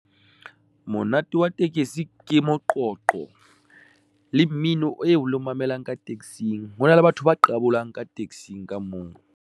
Monate wa tekesi ke moqoqo le mmino, o lo mamelang ka taxing, hona le batho ba qabolang ka tekesing ka moo.